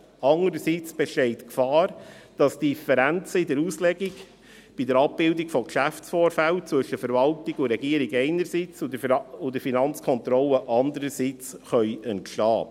Andererseits besteht die Gefahr, dass Differenzen in der Auslegung bei der Abbildung von Geschäftsvorfällen zwischen der Verwaltung und der Regierung einerseits, und der Finanzkontrolle andererseits entstehen können.